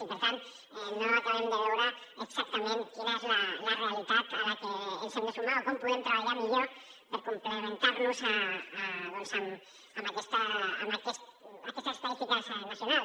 i per tant no acabem de veure exactament quina és la realitat a la que ens hem de sumar o com podem treballar millor per complementar nos amb aquesta estadística nacional